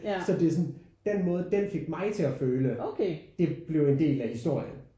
Så det er sådan den måde den fik mig til at føle det blev en del af historien